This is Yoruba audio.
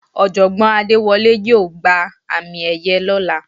Ọ̀jọ̀gbọ́n Adéwọlé yóò gba àmì ẹ̀yẹ lọ́la.